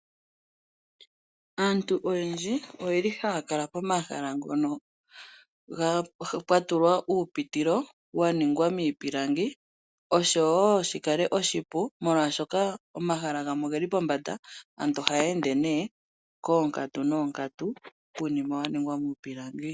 Aantu oyendji oye li ha ya kala pomahala ngono pwatulwa uupitilo, wa ningwa miipilangi osho wo shi kale oshipu oshoka omahala gamwe oge li pombanda. Aantu oha ya ende nduno koonkatu noonkatu kuunima wa ningwa miipilangi.